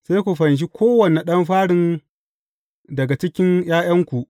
Sai ku fanshe kowane ɗan farin daga cikin ’ya’yanku.